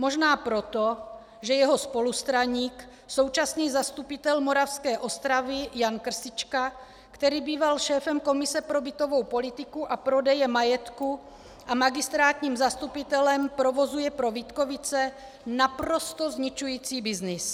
Možná proto, že jeho spolustraník, současný zastupitel Moravské Ostravy Jan Krtička, který býval šéfem komise pro bytovou politiku a prodeje majetku a magistrátním zastupitelem, provozuje pro Vítkovice naprosto zničující byznys.